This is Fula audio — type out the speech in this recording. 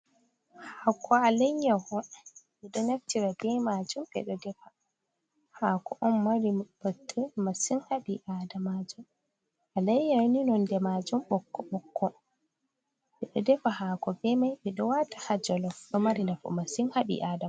Hako a layyaho meɗo naftira be majum, beɗo defa hako on mari botte masin, ha ɓi adama, jum a layyani nonde majum ɓokko ɓokko ɓe ɗo defa hako be mai ɓe ɗo wata ha jolof ɗo mari nafu masin ha ɓi adadama.